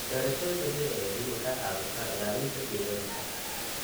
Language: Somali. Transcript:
Beerashada dabiiciga ahi waxay caawisaa ilaalinta deegaanka.